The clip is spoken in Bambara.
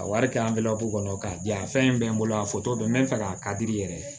A wari kɛ kɔnɔ k'a di yan fɛn in bɛ n bolo a bɛ n bɛ fɛ k'a ka di i yɛrɛ ye